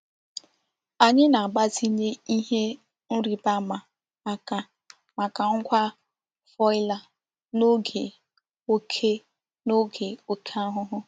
Anyị na-agbazinye ihe nrịbama aka maka ngwa foliar n'oge oke n'oge oke ahụhụ.